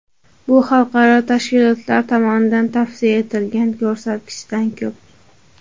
Bu xalqaro tashkilotlar tomonidan tavsiya etilgan ko‘rsatkichdan ko‘p.